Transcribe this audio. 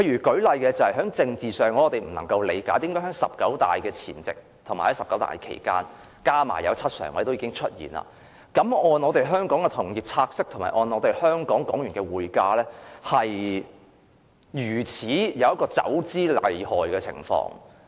舉例來說，在政治上，我無法理解為何在"十九大"前夕及期間 ，7 名政治局常委已經選出，但香港的同業拆息及港元匯價市場竟然出現走資厲害的情況。